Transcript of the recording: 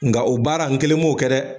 Nka o baara n kelen m'o kɛ dɛ.